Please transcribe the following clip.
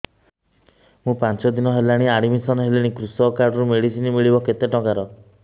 ମୁ ପାଞ୍ଚ ଦିନ ହେଲାଣି ଆଡ୍ମିଶନ ହେଲିଣି କୃଷକ କାର୍ଡ ରୁ ମେଡିସିନ ମିଳିବ କେତେ ଟଙ୍କାର